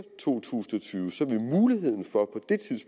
to tusind og tyve vil muligheden for